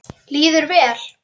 Líður vel.